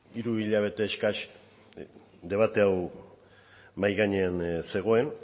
hiru hilabete eskas debate hau mahai gainean zegoen